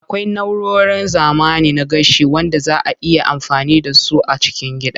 Akwai na'urorin zamani na gashi wanda zaa a iya amfani da su a cikin gida.